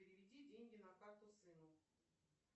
переведи деньги на карту сыну